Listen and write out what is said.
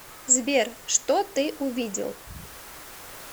сбер что ты увидел